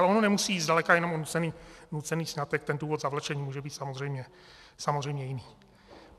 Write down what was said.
Ale ono nemusí jít zdaleka jenom o nucený sňatek, ten důvod zavlečení může být samozřejmě jiný.